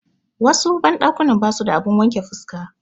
Wasu banɗakunan basu da abun wanke fuska.